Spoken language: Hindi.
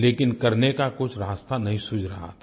लेकिन करने का कुछ रास्ता नहीं सूझ रहा था